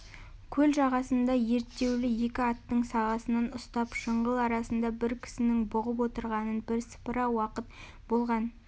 көл жағасында ерттеулі екі аттың сағасынан ұстап жыңғыл арасында бір кісінің бұғып отырғанына бірсыпыра уақыт болған